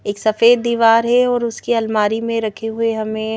एक सफेद दीवार है और उसकी अलमारी में रखे हुए हमें --